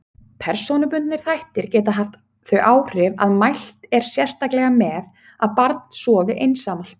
Persónubundnir þættir geta haft þau áhrif að mælt er sérstaklega með að barn sofi einsamalt.